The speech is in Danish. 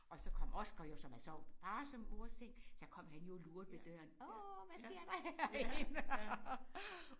Og så kom Oscar jo som havde sovet i fars og mors seng så kom han jo og lurede ved døren åh hvad sker der herinde og